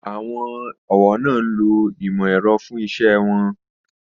Àwọn ọ̀wọ́ náà ń lo ìmò ẹ̀rọ fún iṣẹ́ won